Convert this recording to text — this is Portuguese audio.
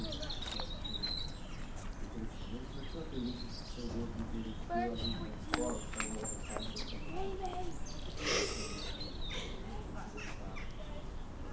Antes eu já tinha uma pergunta, se se tinha algum outro interesse seu, além de ir na escola, se tinha alguma outra parte da sua rotina que existia nesse, que você gostava nessa